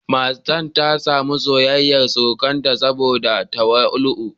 Matar ta sami soyayyar surukanta saboda tawali'u.